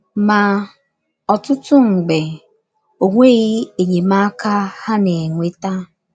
Ma, ọtụtụ mgbe, o nweghị enyemaka ha na - enweta.